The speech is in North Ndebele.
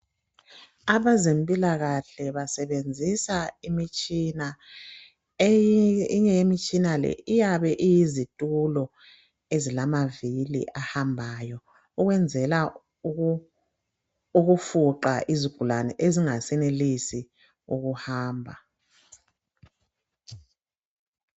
Abazempilakahle basebenzisa imitshina, eminye ye mitshina leyi iyabe iyizitulo ezilamavili ahambayo, ukwenzela ukufuqa izigulane ezingasayenelisi ukuhamba.